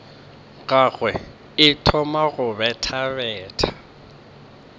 gagwe e thoma go bethabetha